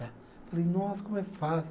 Falei, nossa, como é fácil.